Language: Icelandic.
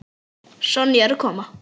Sonja er að koma.